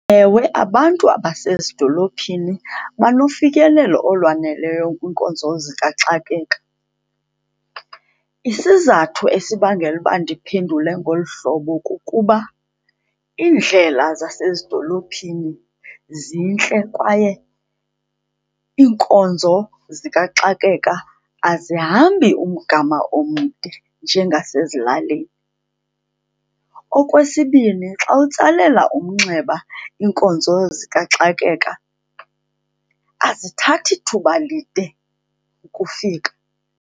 Ewe, abantu abasezidolophini banofikelelo olwaneleyo kwiinkonzo zikaxakeka. Isizathu esibangela uba ndiphendule ngolu hlobo kukuba iindlela zasezidolophini zintle kwaye iinkonzo zikaxakeka azihambi umgama omde njengasezilalini. Okwesibini, xa utsalela umnxeba iinkonzo zikaxakeka azithathi thuba lide ukufika.